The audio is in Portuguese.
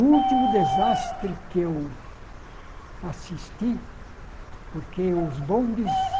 O último desastre que eu assisti, porque os bondes